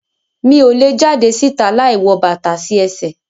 Mi o le jade si'ta láì wọ bàtà sí ẹsẹ